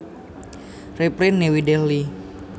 Reprint New Delhi